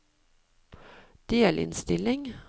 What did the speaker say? delinnstilling